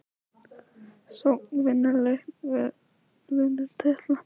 Sókn vinnur leiki vörn vinnur titla???